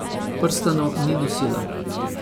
Prstanov ni nosila.